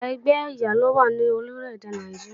Igba ẹgbẹ́ ẹ̀yà lówá ní orílèdè Nàìjíríà